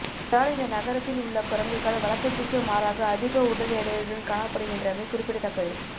இதனால் இந்த நகரத்தில் உள்ள குரங்குகள் வழக்கத்திற்கு மாறாக அதிக உடல் எடையுடன் காணப்படுகின்றமை குறிப்பிடத்தக்கது